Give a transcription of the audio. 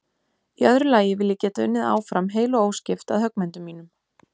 Í öðru lagi vil ég geta unnið áfram heil og óskipt að höggmyndum mínum.